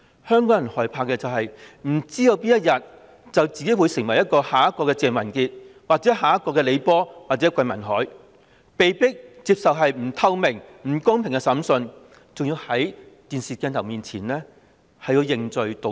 香港人害怕的是不知道自己哪天會成為下一個鄭文傑、李波或桂民海，被迫接受不透明、不公平的審訊，還要在電視鏡頭前認罪和道歉。